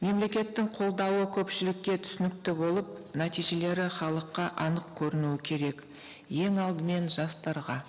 мемлекеттің қолдауы көпшілікке түсінікті болып нәтижелері халыққа анық көрінуі керек ең алдымен жастарға